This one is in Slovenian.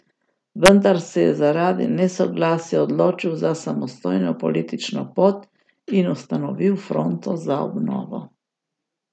Vendar se je zaradi nesoglasij odločil za samostojno politično pot in ustanovil Fronto za obnovo.